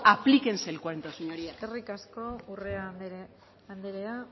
aplíquense el cuento señorías eskerrik asko urrea anderea